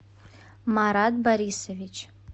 марат борисович